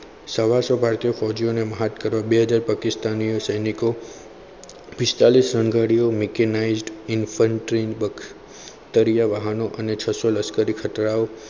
સવાસો ભારતીય ફોજીઓને મત કરવા માટે બે હાજર પાકિસ્તાની સૈનિકોએ પિસ્તાલીસ રન ગાડીઓ mikenize in front of સ્તરીય વાહનો અને છસો લશ્કરીયા વાહનો